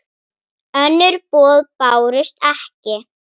Önnur boð bárust ekki.